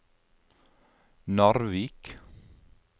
Narvik